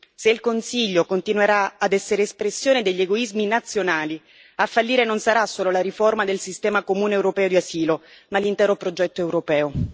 Se il Consiglio continuerà ad essere espressione degli egoismi nazionali, a fallire non sarà solo la riforma del sistema comune europeo di asilo ma l'intero progetto europeo.